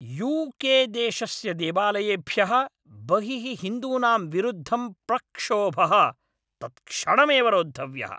UK. देशस्य देवालयेभ्यः बहिः हिन्दूनां विरुद्धं प्रक्षोभः तत्क्षणमेव रोद्धव्यः।